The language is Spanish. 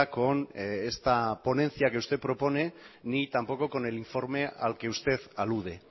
con esta ponencia que usted propone ni tampoco con el informe al que usted alude